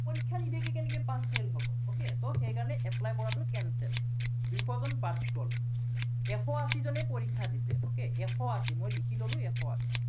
পৰীক্ষা নিদিয়াকে কেনেকে pass fail হব। okay সেই কাৰনে apply কৰাটো cancel । দুইশজন বাদ গল। এশ আশীজনে পৰীক্ষা দিছে, okay এশ আশী, মই লিখি ললো এশ আশী।